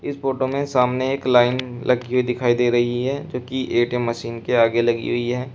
इस फोटो में सामने एक लाइन लगती दिखाई दे रही है जो कि ए_टी_एम मशीन के आगे लगी हुई है।